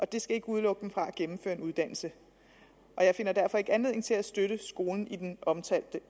det skal ikke udelukke dem fra at gennemføre en uddannelse jeg finder derfor ikke anledning til at støtte skolen i den omtalte